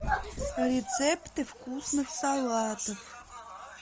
рецепты вкусных салатов